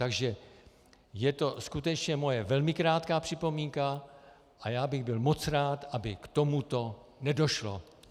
Takže je to skutečně moje velmi krátká připomínka a já bych byl moc rád, aby k tomuto nedošlo.